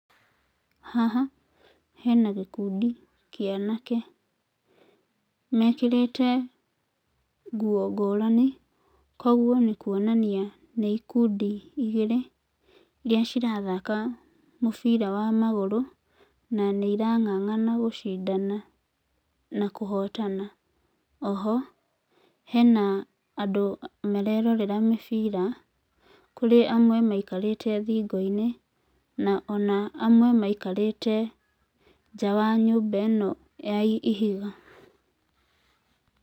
Haha hena gĩkundi kĩa anake mekĩrĩte nguo ngũrani kwoguo nĩkuonania nĩ ikindi igirĩ iria ciratahaka mũbira wa magũrũ na nĩ irang'ang'ana gũcindana, na kuhotana. Oho hena andũ marerorera mĩbira kũrĩ amwe maikarĩte thĩngoinĩ ona amwe maikararĩte nja wa nyũmba ĩno ya ihiga.